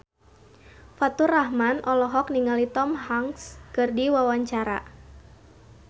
Faturrahman olohok ningali Tom Hanks keur diwawancara